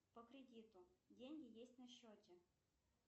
по кредиту деньги есть на счете